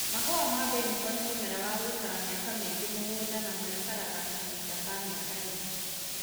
Mahũa ma mbeniko nĩ mũmera wa gũikara mĩaka mĩingĩ mũgũnda na maikaraga kahinda ka mĩaka ĩna.